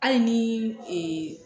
Hali ni ee